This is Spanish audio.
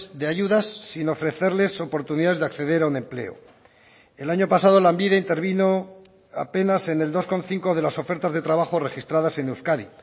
de ayudas sin ofrecerles oportunidades de acceder a un empleo el año pasado lanbide intervino apenas en el dos coma cinco de las ofertas de trabajo registradas en euskadi